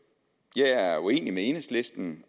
jeg er uenig med enhedslisten